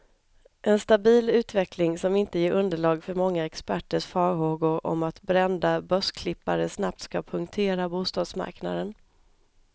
En stabil utveckling, som inte ger underlag för många experters farhågor om att brända börsklippare snabbt ska punktera bostadsmarknaden.